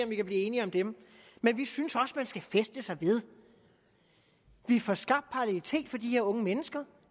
vi kan blive enige om dem men vi synes også at man skal fæste sig ved at vi får skabt parallelitet for de her unge mennesker